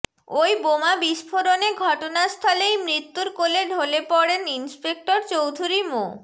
ওই বোমা বিস্ফোরণে ঘটনাস্থলেই মৃত্যুর কোলে ঢালে পড়েন ইন্সপেক্টর চৌধুরী মো